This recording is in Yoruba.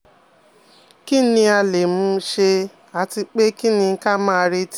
Kí ni a le um ṣe àti pé kí um ní ka máa retí?